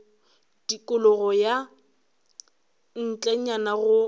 tikologo ka ntlenyana ga motse